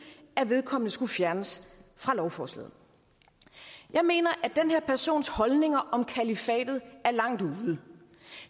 at vedkommende skulle fjernes fra lovforslaget jeg mener at den her persons holdninger om kalifatet er langt ude